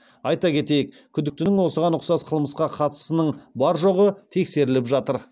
айта кетейік күдіктінің осыған ұқсас қылмысқа қатысының бар жоғы тексеріліп жатыр